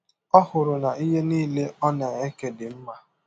Ọ hụrụ na ihe nile ọ na - eke dị mma.